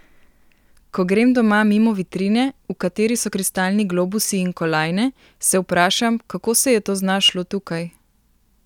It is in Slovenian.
Ko grem doma mimo vitrine, v kateri so kristalni globusi in kolajne, se vprašam, kako se je to znašlo tukaj?